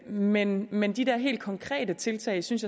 men men de der helt konkrete tiltag synes